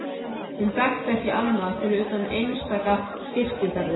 Hún þekkti ekki annað fyrir utan einstaka kirkjuferðir.